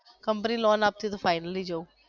company loan આપતી હોય તો finally જવ.